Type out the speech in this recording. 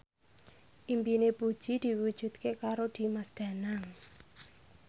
impine Puji diwujudke karo Dimas Danang